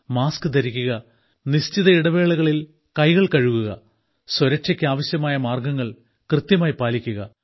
mask ധരിക്കുക നിശ്ചിത ഇടവേളകളിൽ കൈകൾ കഴുകുക സ്വരക്ഷയ്ക്ക് ആവശ്യമായ മാർഗ്ഗങ്ങൾ കൃത്യമായി പാലിക്കുക